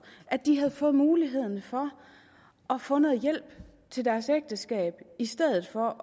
at de havde fået muligheden for at få noget hjælp til deres ægteskab i stedet for